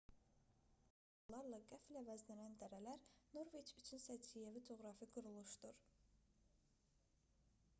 sıldırım fyordlar və yüksək nisbətən hamar platolarla qəfil əvəzlənən dərələr norveç üçün səciyyəvi coğrafi quruluşdur